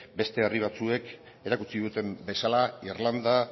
beste herri batzuek erakutsi duten bezala irlanda